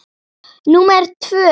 númer tvö.